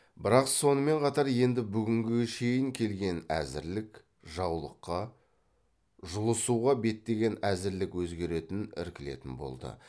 бірақ сонымен қатар енді бүгінге шейін келген әзірлік жаулыққа жұлысуға беттеген әзірлік өзгеретін іркілетін болды